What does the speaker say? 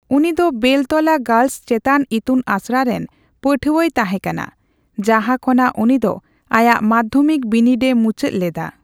ᱩᱱᱤᱫᱚ ᱵᱮᱞᱛᱚᱞᱟ ᱜᱟᱨᱞᱥ ᱪᱮᱛᱟᱱ ᱤᱛᱩᱱ ᱟᱥᱲᱟ ᱨᱮᱱ ᱯᱟᱹᱴᱷᱩᱣᱟᱹᱭ ᱛᱟᱦᱮᱸᱠᱟᱱᱟ ᱡᱟᱦᱟᱸ ᱠᱷᱚᱱᱟᱜ ᱩᱱᱤᱫᱚ ᱟᱭᱟᱜ ᱢᱟᱫᱽᱫᱷᱚᱢᱤᱠ ᱵᱤᱱᱤᱰᱮ ᱢᱩᱪᱟᱹᱫ ᱞᱮᱫᱟ ᱾